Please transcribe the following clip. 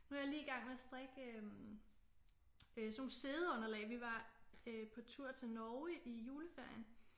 Nu er jeg lige i gang med at strikke øh sådan nogle siddeunderlag vi var på tur til Norge i juleferien